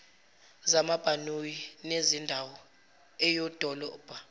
zamabhanoyi nezendawo eyidolobha